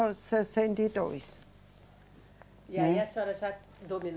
sessenta e dois. E aí a senhora já